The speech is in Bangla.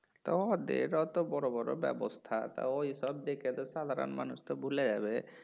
তো ওদের অত বড় বড় ব্যবস্থা তা ওইসব দেখে তো সাধারণ মানুষ তো ভুলে যাবে